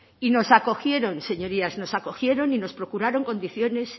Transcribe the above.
y nos acogieron señorías nos acogieron y nos procuraron condiciones